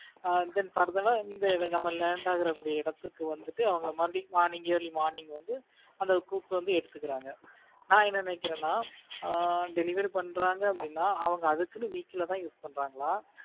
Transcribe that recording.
அஹ் then further ஆ இங்க நம்ம land ஆக கூடிய இடத்துக்கு அவங்க மறுபடியும் morning early morning வந்து கூட்டிட்டு வந்து எடுத்துக்கிறாங்க நான் என்ன நினைக்கிறேன்ன delivery பண்றாங்க அப்படின்னா அவங்க அதுக்குன்னு vehicle தான் இது பண்றாங்களா